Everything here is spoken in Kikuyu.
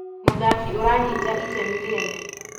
mũthaki ũranyita itemi rĩene